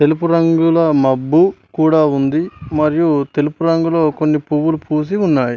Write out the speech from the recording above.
తెలుపు రంగులో మబ్బు కూడా ఉంది మరియు తెలుపు రంగులో కొన్ని పువ్వులు పూసి ఉన్నాయి.